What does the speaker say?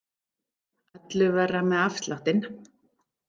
Öllu verra með afsláttinn.